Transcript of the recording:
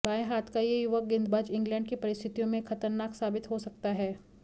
बाएं हाथ का यह युवा गेंदबाज इंग्लैंड की परिस्थितियों में खतरनाक साबित हो सकता है